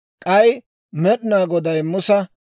K'ay Med'inaa Goday Musa,